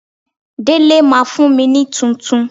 Délé máa fún mi ní tuntun.